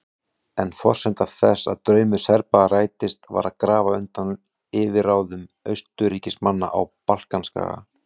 En forsenda þess að draumur Serba rættist var að grafa undan yfirráðum Austurríkismanna á Balkanskaga.